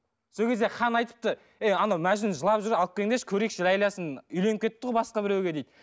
сол кезде хан айтыпты ей ана мәжнүн жылап жүр алып келіңдерші көрейікші ләйласын үйленіп кетіпті ғой басқа біреуге дейді